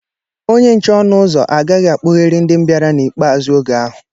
Onye nche ọnụ ụzọ agaghị akpoheri ndi bịara n'ikpazụ oge ahụ.